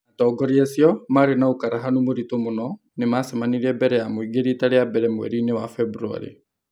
Atongoria acio - marĩ na ũkuruhanu mũritũ mũno - nĩ macemanirie mbere ya mũingĩ riita rĩa mbere kuuma mweri-inĩ wa Februarĩ.